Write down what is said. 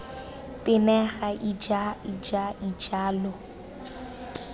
tenega ija ija ija lo